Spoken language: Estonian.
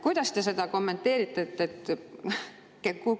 Kuidas te seda kommenteerite?